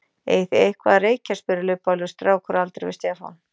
Eigið þið eitthvað að reykja? spurði lubbalegur strákur á aldri við Stefán.